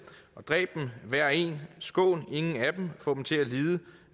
og dræb dem hver og en skån ingen af dem få dem til at